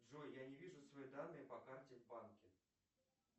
джой я не вижу свои данные по карте в банке